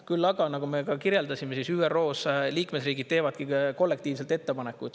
Küll aga, nagu me ka kirjeldasime, ÜRO-s liikmesriigid teevadki kollektiivselt ettepanekuid.